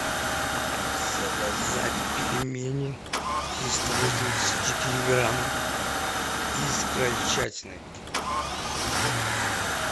заказать пельмени триста восемьдесят четыре грамма из крольчатины